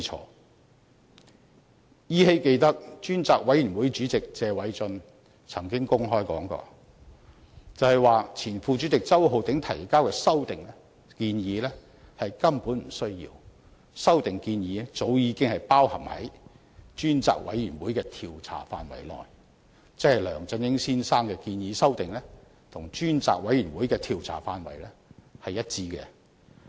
我依稀記得，專責委員會主席謝偉俊議員曾經公開說過，指前副主席周浩鼎議員提交的修訂建議根本不需要，因為修訂建議早已包含在專責委員會的調查範圍內，即梁振英先生的修訂建議其實是與專責委員會的調查範圍一致。